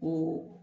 Ko